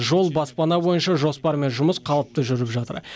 жол баспана бойынша жоспар мен жұмыс қалыпты жүріп жатыр